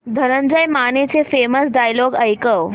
धनंजय मानेचे famous dialogue ऐकव